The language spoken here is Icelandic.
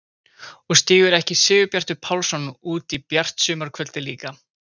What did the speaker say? Og stígur ekki Sigurbjartur Pálsson út í bjart sumarkvöldið líka!